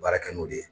Baara kɛ n'o de ye